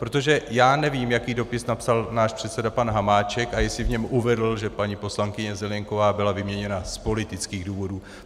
Protože já nevím, jaký dopis napsal náš předseda pan Hamáček a jestli v něm uvedl, že paní poslankyně Zelienková byla vyměněna z politických důvodů.